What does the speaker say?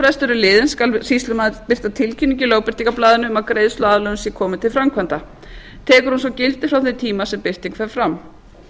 er liðinn skal sýslumaður birta tilkynningu í lögbirtingarblaðinu um að greiðsluaðlögun sé komin til framkvæmda tekur hún svo gildi frá þeim tíma sem birting fer fram